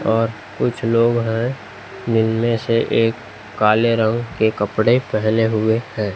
और कुछ लोग हैं जिनमें से एक काले रंग के कपड़े पहने हुए है।